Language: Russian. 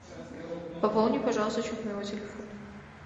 пополни пожалуйста счет моего телефона